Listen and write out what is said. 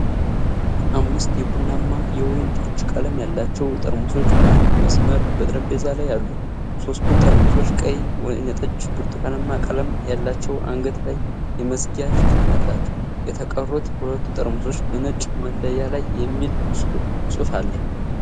አምስት የቡናማ ፣ የወይን ጠጅ ቀለም ያላቸው ጠርሙሶች በአንድ መስመር በጠረጴዛ ላይ አሉ። ሦስቱ ጠርሙሶች ቀይ፣ ወይንጠጅና ብርቱካናማ ቀለም ያላቸው አንገት ላይ የመዝጊያ ሽፋን አላቸው። የተቀሩት ሁለቱ ጠርሙሶች በነጭ መለያ ላይ የሚል ጽሑፍ አለ።